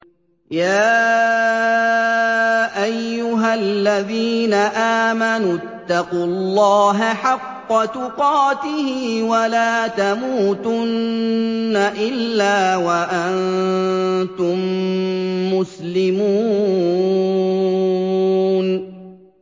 يَا أَيُّهَا الَّذِينَ آمَنُوا اتَّقُوا اللَّهَ حَقَّ تُقَاتِهِ وَلَا تَمُوتُنَّ إِلَّا وَأَنتُم مُّسْلِمُونَ